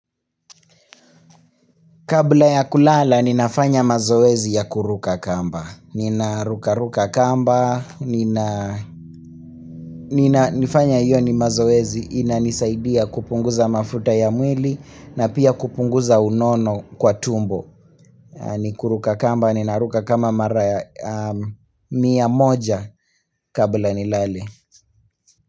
Kabla ya kulala ninafanya mazoezi ya kuruka kamba. Nina ruka ruka kamba, nina nifanya hiyo ni mazoezi, inanisaidia kupunguza mafuta ya mwili na pia kupunguza unono kwa tumbo. Nikuruka kamba, nina ruka kama mara ya mia moja kabla nilale.